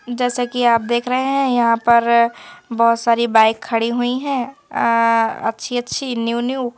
जैसा कि आप देख रहे हैं यहां पर बहोत सारी बाइक खड़ी हुई हैं अह अच्छी अच्छी न्यू न्यू ।